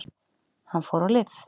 Hann fór á lyf.